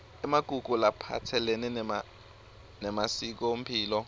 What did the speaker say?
emagugu laphatselene nemasikomphilo